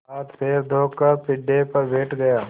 हाथपैर धोकर पीढ़े पर बैठ गया